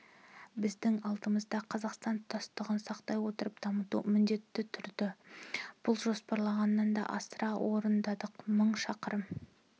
біздің алдымызда қазақстанның тұтастығын сақтай отырып дамыту міндеті тұрды біз жоспарлағаннан да асыра орындадық мың шақырым